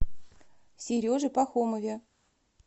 сереже пахомове